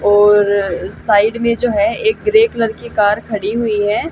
और साइड में जो है एक ग्रे कलर की कार खड़ी हुई है।